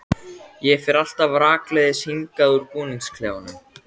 Ég fer alltaf rakleiðis hingað úr búningsklefanum.